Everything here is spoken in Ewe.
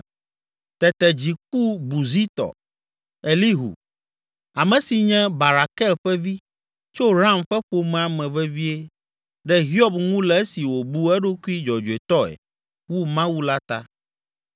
Tete dzi ku Buzitɔ, Elihu, ame si nye Barakel ƒe vi, tso Ram ƒe ƒomea me vevie ɖe Hiob ŋu le esi wòbu eɖokui dzɔdzɔetɔe wu Mawu la ta.